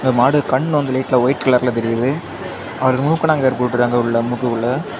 இந்த மாடு கண்ணு வந்து லைட்ல ஒயிட் கலர்ல தெரியுது அதுல மூக்கனாங்கயிறு போட்டுருக்காங்க உள்ள மூக்குக்குள்ள.